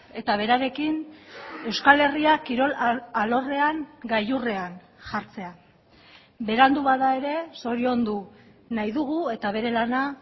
eta berarekin euskal herriak kirol alorrean gailurrean jartzea berandu bada ere zoriondunahi dugu eta bere lana